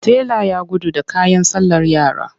Tela ya gudu da kayan sallar yara.